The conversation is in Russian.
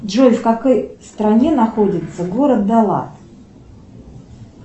джой в какой стране находится город далат